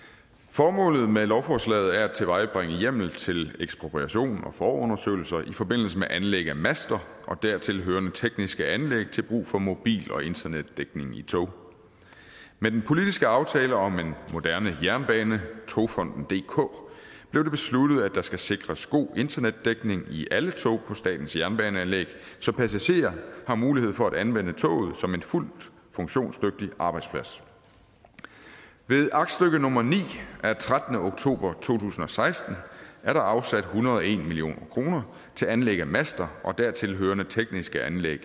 formålet med lovforslaget er at tilvejebringe hjemmel til ekspropriation og forundersøgelser i forbindelse med anlæg af master og dertilhørende tekniske anlæg til brug for mobil og internetdækning i tog med den politiske aftale om en moderne jernbane togfonden dk blev det besluttet at der skal sikres god internetdækning i alle tog på statens jernbaneanlæg så passagerer har mulighed for at anvende toget som en fuldt funktionsdygtig arbejdsplads ved aktstykke nummer ni af trettende oktober to tusind og seksten er der afsat en hundrede og en million kroner til anlæg af master og dertilhørende tekniske anlæg